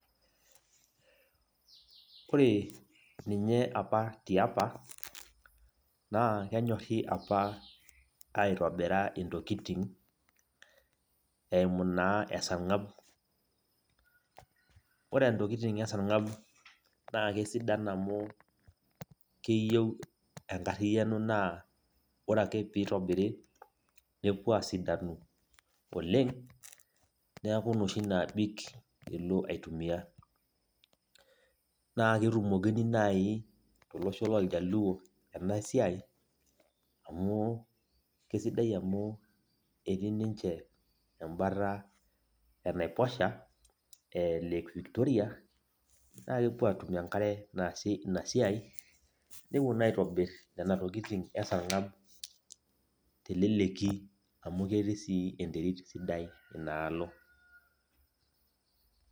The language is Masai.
Ore ninye apa tiapa, naa kenyorri apa aitobira intokiting, eimu naa esarng'ab. Ore ntokiting esarng'ab, na kesidan amu, keyieu enkarriyiano naa ore ake pitobiri, nepuo asidanu oleng, neeku noshi naabik ilo autumia. Naa ketumokini nai tolosho loljaluo enasiai, amu, kesidai amu ketii ninche embata enaiposha e lake Victoria, nakepuo atum enkare naasie inasiai, nepuo naa aitobir nena tokiting esarng'ab teleleki amu ketii si enterit sidai inaalo.